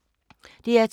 DR P2